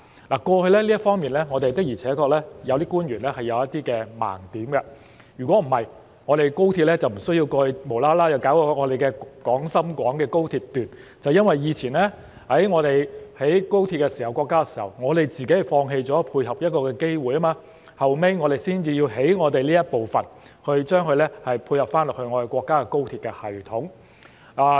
我們有些官員過去在這方面確實有一些盲點，否則，我們便無需後來才興建廣深港高鐵香港段，正是因為過往國家興建高鐵時，我們自己放棄了配合這個機會，後來我們才要興建香港段，以配合國家的高鐵系統。